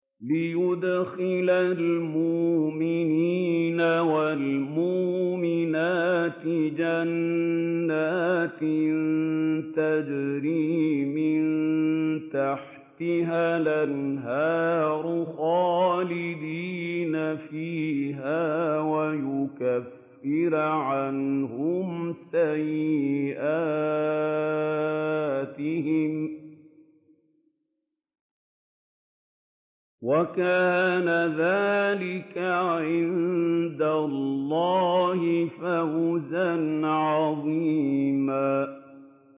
لِّيُدْخِلَ الْمُؤْمِنِينَ وَالْمُؤْمِنَاتِ جَنَّاتٍ تَجْرِي مِن تَحْتِهَا الْأَنْهَارُ خَالِدِينَ فِيهَا وَيُكَفِّرَ عَنْهُمْ سَيِّئَاتِهِمْ ۚ وَكَانَ ذَٰلِكَ عِندَ اللَّهِ فَوْزًا عَظِيمًا